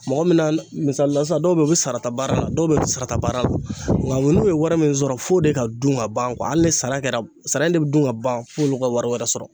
Mɔgɔ min na misalila sisan dɔw bɛ yen u bɛ sarata baara la, dɔw bɛ yen u bɛ sarata baara la nka u n'u ye wari min sɔrɔ f'o de ka dun ka ban hali ni sara kɛra, sara de bɛ dun ka ban fo olu ka wari wɛrɛ sɔrɔ.